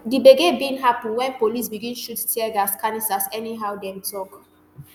di gbege bin happun wen police begin shoot teargas canisters anyhow dem tok